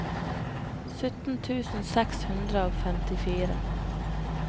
sytten tusen seks hundre og femtifire